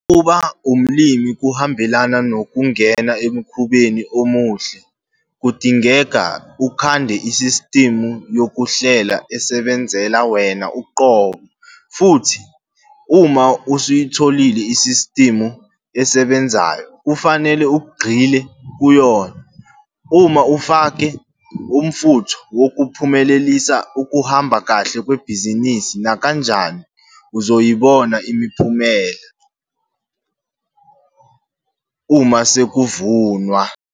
Ukuba umlimi kuhambelana nokungena emkhubeni omuhle. Kudingeka ukhande isistimu yokuhlela esebenzela wena uqobo futhi uma usuyitholile isistimu esebenzayo, kufanele ugxile kuyo. Uma ufaka umfutho wokuphumelelisa ukuhamba kahle kwebhizinisi nakanjani uzoyibona imiphumela uma sekuvunwa.